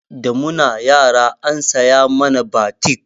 Da muna yara an saya mana batik